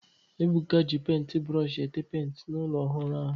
Ebuka ji penti brooshi été penti n'ụlọ ọhụrụ ahụ